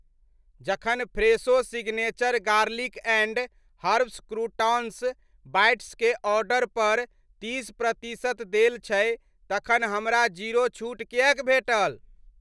जखन Fresho signature garlic and herbs croutons bites के order पर तीस प्रतिशत देल छै तखन हमरा जीरो छूट किएक भेटल ?